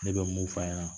Ne bɛ mun f'a ɲɛna